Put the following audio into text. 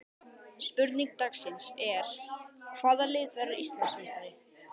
Spurning dagsins er: Hvaða lið verður Íslandsmeistari?